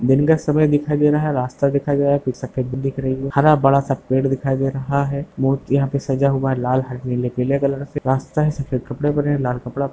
दिन का समय दिखाई दे रहा है रास्ता दिखाई दे रहा है कुछ सफ़ेद भी दिख रही है। हरा बड़ा सा पेड़ दिखाई दे रहा है। मुर्ति यहाँ पे सजा हुआ है लाल हरे नीले पिले कलर से रास्ता है सफ़ेद कपड़े पहने हैं लाल कपड़ा --